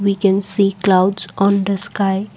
we can see clouds on the sky.